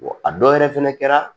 a dɔw yɛrɛ fɛnɛ kɛra